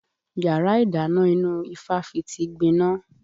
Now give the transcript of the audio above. Yàrá ìdáná ìnú ifáfitì gbiná